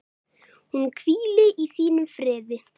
Hún hvíli í þínum friði.